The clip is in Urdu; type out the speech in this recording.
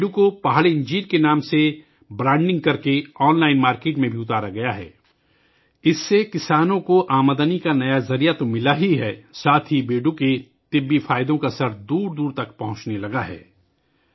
بیڑو کو پہاڑی انجیر کے نام سے برانڈنگ کرکے آن لائن مارکیٹ میں بھی لانچ کیا گیا ہے ، جس کی وجہ سے کسانوں کو نہ صرف آمدنی کا نیا ذریعہ ملا ہے بلکہ بیڑو کی ادویاتی خصوصیات کے فوائد دور دور تک پہنچنے لگے ہیں